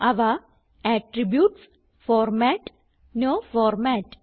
അവ attributes format no format